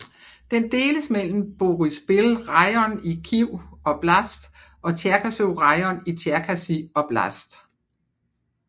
Den deles mellem Boryspil rajon i Kyiv oblast og Tjerkasy rajon i Tjerkasy oblast